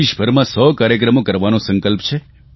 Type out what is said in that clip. દેશભરમાં 100 કાર્યક્રમો કરવાનો સંકલ્પ છે